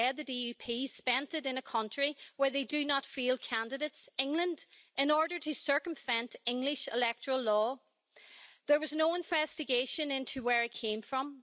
instead, the DUP spent it in a country where they do not field candidates England in order to circumvent English electoral law. There was no investigation into where it came from.